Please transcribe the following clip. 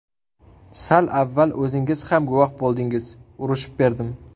Sal avval o‘zingiz ham guvoh bo‘ldingiz, urishib berdim.